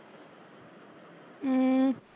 ਅਮ